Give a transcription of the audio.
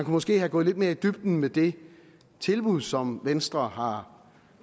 måske være gået lidt mere i dybden med det tilbud som venstre har